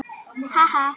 Sýgur upp í nefið.